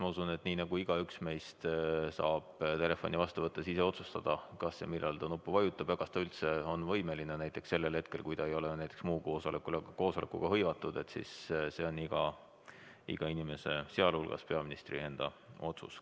Ma usun, et nii nagu igaüks meist saab telefoni vastu võttes ise otsustada, kas ja millal ta nuppu vajutab või kas ta üldse on võimeline sellel hetkel vastama ega ole näiteks muu koosolekuga hõivatud, on see iga inimese, sh peaministri enda otsus.